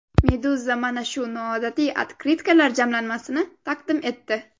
Meduza mana shu noodatiy otkritkalar jamlanmasini taqdim etdi .